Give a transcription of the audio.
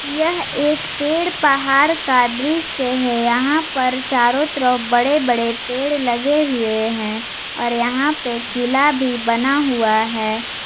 यह एक पेड़ पहाड़ का दृश्य है यहां पर चारों तरफ बड़े बड़े पेड़ लगे हुए हैं और यहां पर किला भी बना हुआ है।